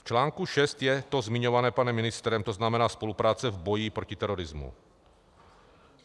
V článku 6 je to zmiňované panem ministrem, to znamená spolupráce v boji proti terorismu.